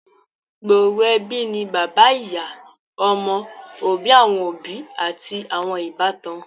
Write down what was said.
gbooro ẹbí ni bàbá ìyá, ọmọ, òbí awọn òbí ati awọn ìbátan.